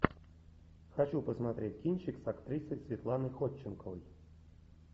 хочу посмотреть кинчик с актрисой светланой ходченковой